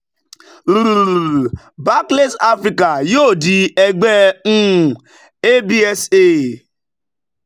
barclays africa yóò di ẹgbẹ́ um absa